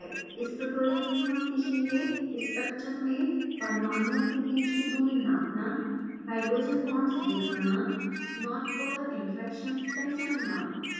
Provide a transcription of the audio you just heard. इस ट्यूटोरियल में हम सीखेंगे: स्ट्रक्चर में परमाणुओं के बीच की दूरी नापना हाइड्रोजन बांड्स दिखाना नॉनपोलर इंटरेक्शन्स पहचानना